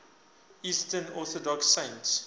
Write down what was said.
eastern orthodox saints